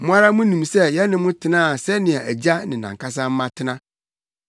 Mo ara munim sɛ yɛne mo tenaa sɛnea agya ne nʼankasa mma tena.